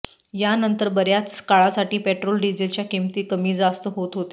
यानंतर बऱ्याच काळासाठी पेट्रोल डिझेलच्या किंमती कमी जास्त होत होत्या